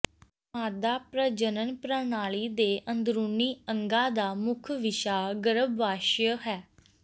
ਮਾਦਾ ਪ੍ਰਜਨਨ ਪ੍ਰਣਾਲੀ ਦੇ ਅੰਦਰੂਨੀ ਅੰਗਾਂ ਦਾ ਮੁੱਖ ਵਿਸ਼ਾ ਗਰੱਭਾਸ਼ਯ ਹੈ